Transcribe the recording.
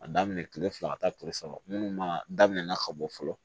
A daminɛ kile fila ka taa kile saba munnu ma daminɛna ka bɔ fɔlɔ